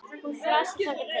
Hún þrasaði þangað til.